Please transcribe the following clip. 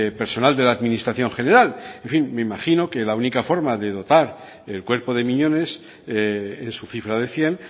personal de la administración general en fin me imagino que la única forma de dotar el cuerpo de miñones en su cifra de cien